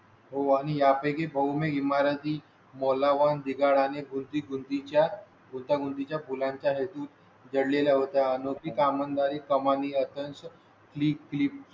हो आणि यापैकी बहूतेक इमारती बोलाव ली गाणी कोणती कोणती च्या गुंतागुंती च्या फुलांच्या हेतू जडले ला होता. नोकरी काम धंदा री कमानी अत्यंत